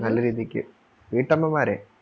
നല്ലരീതിക്ക് വീട്ടമ്മമാരെ